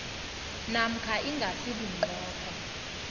namkha ingasi bunqopha